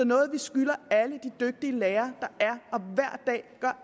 noget vi skylder alle de dygtige lærere der